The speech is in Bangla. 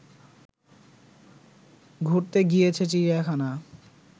ঘুরতে গিয়েছে চিড়িয়াখানা